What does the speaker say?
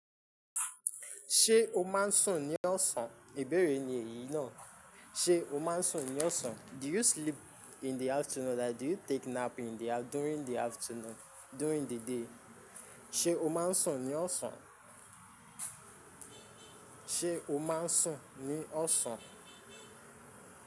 Ṣé o máa ń sùn ní ọ̀sán? Ìbéèrè ni èyí náà. Ṣé o máa ń sùn ní ọ̀sán? Do you sleep in the afternoon? Like do you take nap in the during the afternoon, during the day. Ṣé o máa ń sùn ní ọ̀sán? Ṣé o máa ń sùn ní ọ̀sán?